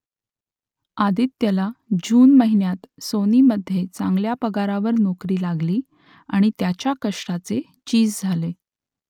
आदित्यला June महिन्यात सोनीमध्ये चांगल्या पगारावर नोकरी लागली आणि त्याच्या कष्टाचे चीज झाले